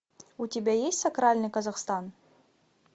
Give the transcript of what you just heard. у тебя есть сакральный казахстан